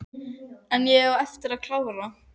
En ég á eftir að klára.